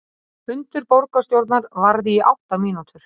Fundur borgarstjórnar varði í átta mínútur